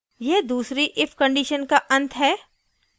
यह दूसरी if condition का अंत है